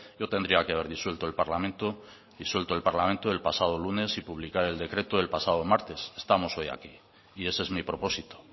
yo tenía que haber disuelto el parlamento el pasado lunes y publicar el decreto el pasado martes estamos hoy aquí y ese es mi propósito